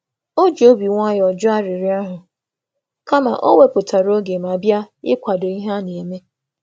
Ọ jụrụ um arịrịọ ahụ nwayọ nwayọ, sị na ọ ga-akwàdó site n’ịnọ ya na iso ya were oge.